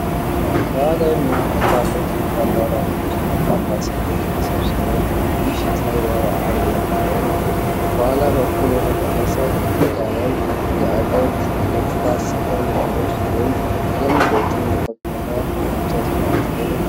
ባህላዊ መዋቅር ባለው ትልቅ አዳራሽ ውስጥ በርካታ ሰዎች ተሰብስበው ምሽት ላይ በዓል እያከበሩ ነው። ከኋላ በኩል በተቀረጸ ግድግዳ ላይ የአገር ገጽታ ስዕል ያለ ሲሆን፣ እንግዶችም የከበሩ የእንጨት ወንበሮች ላይ ተቀምጠዋል።